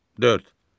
Dörd.